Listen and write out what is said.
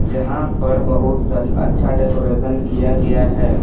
जहां पर बहुत स अच्छा डेकोरेशन किया गया है ।